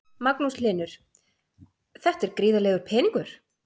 Magnús Hlynur: Þetta er gríðarlegur peningur?